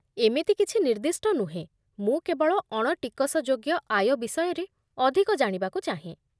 ଏମିତି କିଛି ନିର୍ଦ୍ଦିଷ୍ଟ ନୁହେଁ, ମୁଁ କେବଳ ଅଣଟିକସଯୋଗ୍ୟ ଆୟ ବିଷୟରେ ଅଧିକ ଜାଣିବାକୁ ଚାହେଁ।